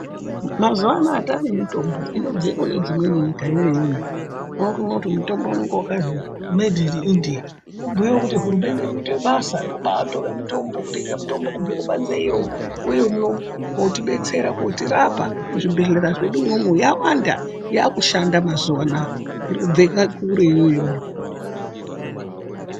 Mazuva anaya tane mitombo inobve kune dzimweni nyika yoyoyo wori woti mutombo unenge wakazi medhi ini indiya kubhuye kuti hurumende iri kuite basa rekubai tore mutombo kubve kubanze iyo kuuye uno koti detsera kuti rapa mu zvibhedhlera zvedu mwomwo yawanda yaku shanda mazuva anaya iri kubve kure yoyo.